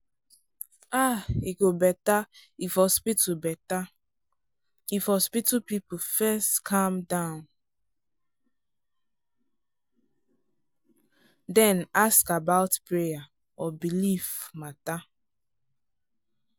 ah e go better if hospital better if hospital people first calm down then ask about prayer or belief matter.